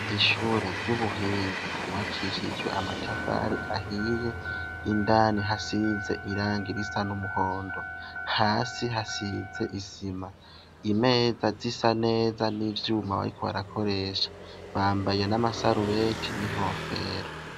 Ishure ry'ubuhinga ryubakishijwe amatafari ahiye, indani hasize irangi risa n'umuhondo, hasi hasize isima. Imeza zisa neza n'ivyuma bariko barakoresha, bambaye n'amasarubeti n'inkofero.